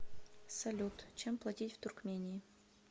салют чем платить в туркмении